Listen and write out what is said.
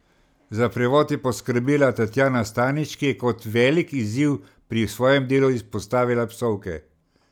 Za prevod je poskrbela Tatjana Stanič, ki je kot velik izziv pri svojem delu izpostavila psovke.